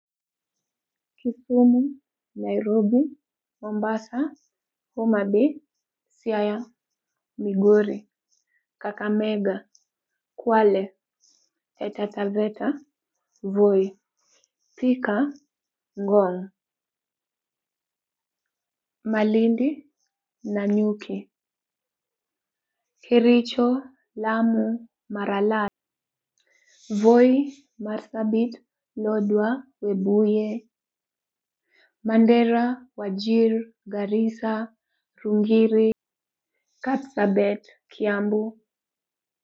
Kisumu, nairobi, Mombasa, Homa bay, Siaya, Migori, Kakamega, Kwale, Taita Taveta, Voi, Thika, Ngong' Malindi, Nanyuki Kericho, Lamu, Maralal. Voi, Marsabit, Lodwar, Webuye. Mandera, Wajir, Garissa, Rungiri, Kapsabet, Kiambu